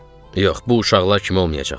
Yox, bu uşaqlar kimi olmayacaqdım.